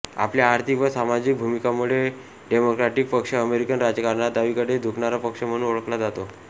आपल्या आर्थिक व सामाजिक भुमिकांमुळे डेमोक्रॅटिक पक्ष अमेरिकन राजकारणात डावीकडे झुकणारा पक्ष म्हणुन ओळखला जातो